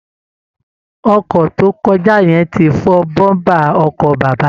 Ọkọ̀ tó kọjá yẹn ti fọ́ bọ́ńbà ọkọ bàbá